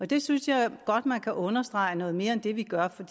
det synes jeg godt man kan understrege noget mere end vi gør for